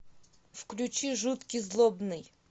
включи жуткий злобный